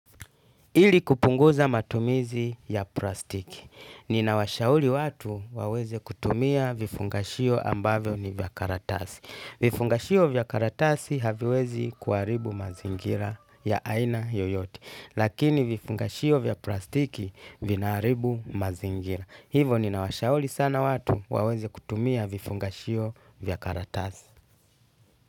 Ili kupunguza matumizi ya plastiki. Ninawashauli watu waweze kutumia vifungashio ambavyo ni vya karatasi. Vifungashio vya karatasi haviwezi kuaribu mazingira ya aina yoyote. Lakini vifungashio vya plastiki vinaaribu mazingira. Hivo ninawashauli sana watu waweze kutumia vifungashio vya karatasi.